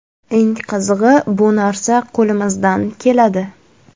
Eng qizig‘i, bu narsa qo‘limizdan keladi.